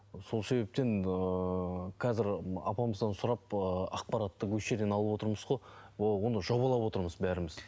сол себептен ыыы қазір апамыздан сұрап ы ақпаратты осы жерден алып отырмыз ғой оны жобалап отырмыз бәріміз